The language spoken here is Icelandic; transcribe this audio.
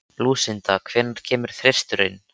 Lúsinda, hvenær kemur þristurinn?